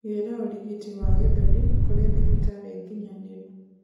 Gira urigiti wa gĩthũri kuri thibitari nginyaniru